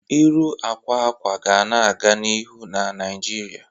Ịrụ akwa akwa ga na-aga n'ihu na Naijiria.